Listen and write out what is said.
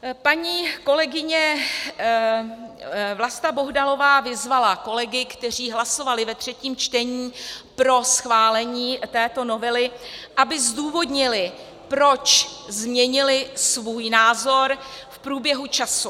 Paní kolegyně Vlasta Bohdalová vyzvala kolegy, kteří hlasovali ve třetím čtení pro schválení této novely, aby zdůvodnili, proč změnili svůj názor v průběhu času.